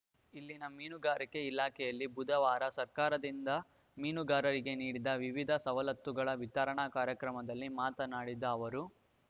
ಇಲ್ಲಿನ ಮೀನುಗಾರಿಕೆ ಇಲಾಖೆಯಲ್ಲಿ ಬುಧವಾರ ಸರ್ಕಾರದಿಂದ ಮೀನುಗಾರರಿಗೆ ನೀಡಿದ ವಿವಿಧ ಸವಲತ್ತುಗಳ ವಿತರಣಾ ಕಾರ್ಯಕ್ರಮದಲ್ಲಿ ಮಾತನಾಡಿದ ಅವರು